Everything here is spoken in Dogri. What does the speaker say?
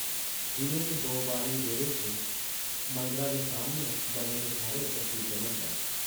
दिनै च दो बारी बेह्ड़े च मंदरा दे सामनै बने दे थढ़े उप्पर कीर्तन होंदा ऐ ।